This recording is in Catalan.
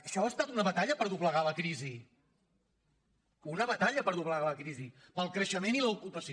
això ha estat una batalla per doblegar la crisi una batalla per doblegar la crisi pel creixement i l’ocupació